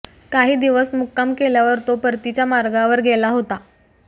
काही दिवस मुक्काम केल्यावर तो परतीच्या मार्गावर गेला होता